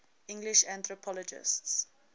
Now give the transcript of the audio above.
english anthropologists